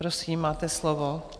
Prosím, máte slovo.